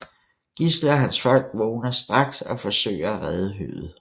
Gisle og hans folk vågner straks og forsøger at redde høet